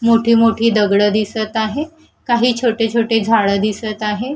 मोठी मोठी दगडं दिसत आहे काही छोटे छोटे झाडं दिसत आहे.